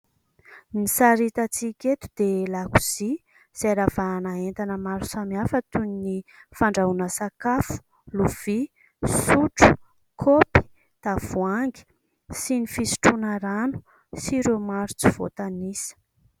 Ny sary hitantsika eto dia lakozia izay ravahana entana maro samihafa, toy ny : fandrahoana sakafo, lovia, sotro, kopy, tavoahangy, sy ny fisotroana rano, sy ireo maro tsy voatanisa...